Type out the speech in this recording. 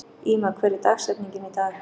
Íma, hver er dagsetningin í dag?